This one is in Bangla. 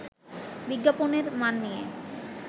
বিজ্ঞাপনের মান নিয়ে